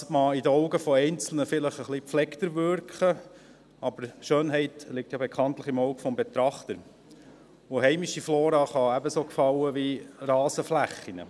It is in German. Das mag in den Augen Einzelner vielleicht etwas gepflegter wirken, aber Schönheit liegt ja bekanntlich im Auge des Betrachters, und heimische Flora kann ebenso gefallen wie Rasenflächen.